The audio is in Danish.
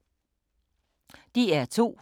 DR2